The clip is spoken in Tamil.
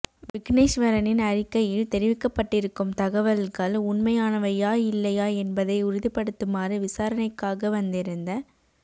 விக்கினேஸ்வரனின் அறிக்கையில் தெரிவிக்கப்பட்டிருக்கும் தகவல்கள் உண்மையானவையா இல்லையா என்பதை உறுதிப்படுத்துமாறு விசாரணைக்காக வந்திருந்த